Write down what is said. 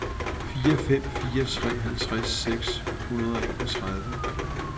fire fem fire tre halvtreds seks hundrede og enogtredive